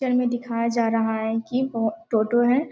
Picture में दिखाया जा रहा है कि वो टोटो है।